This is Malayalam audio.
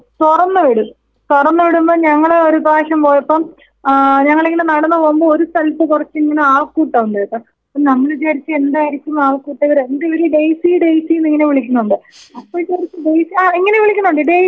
തൊറന്നു വിടുമ്പോ ഞങ്ങളൊരു പ്രാവശ്യം പോയപ്പം ആ ഞങ്ങളിങ്ങനെ നടന്നു പോകുമ്പോ ഒരു സ്ഥലത്തിങ്ങനെ കൊറച്ച് ആൾക്കൂട്ടമുണ്ട്ട്ടൊ അപ്പോ നമ്മള് വിചാരിച്ചു എന്തായിരിക്കും ആൾക്കൂട്ടവരെന്തിവര് ഡെയ്സി ഡെയ്സീന്നിങ്ങനെ വിളിക്കുന്നുണ്ട് അപ്പോൾ വിചാരിച്ചു ഡെയ്സി ആ ഇങ്ങനെ വിളിക്കുന്നുണ്ട് ഡെയ്സി ഡെയ്സീന്ന് വിളിക്കുന്നുണ്ട്.